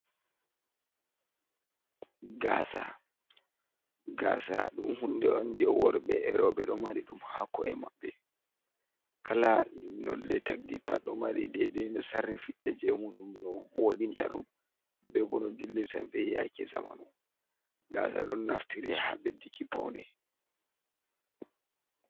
Gasa, gasa ɗum hunde'on nde worɓe e roɓe ɗo mariɗum ha ko’e mabɓe. Kala nolde tagdi pat ɗo mari dedei no sarri fitta jemuɗum no vodinta ɗum, bebo no dillirta be yake zamanu. Gasa ɗon naftiri ha ɓedduki Paune.